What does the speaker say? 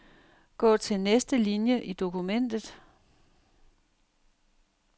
Gå til næste linie i dokumentet.